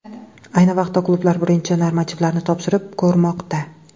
Ayni vaqtda klublar birinchi normativlarni topshirib ko‘rmoqda.